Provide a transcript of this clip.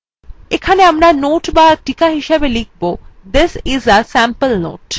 এখানে আমরা note বা টিকা হিসাবে লিখবthis is a sample note